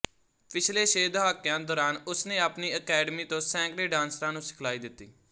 ਪਿਛਲੇ ਛੇ ਦਹਾਕਿਆਂ ਦੌਰਾਨ ਉਸਨੇ ਆਪਣੀ ਅਕੈਡਮੀ ਤੋਂ ਸੈਂਕੜੇ ਡਾਂਸਰਾਂ ਨੂੰ ਸਿਖਲਾਈ ਦਿੱਤੀ